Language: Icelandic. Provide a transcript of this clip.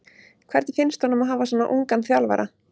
Hvernig finnst honum að hafa svona ungan þjálfara?